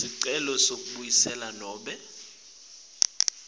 sicelo sekuvuselela nobe